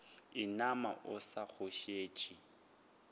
inama o sa go šetše